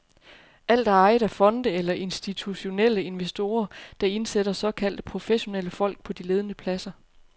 Alt er ejet af fonde eller af institutionelle investorer, der indsætter såkaldte professionelle folk på de ledende pladser.